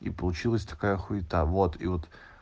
и получилась такая хуита вот и вот